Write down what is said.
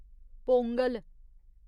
Pongal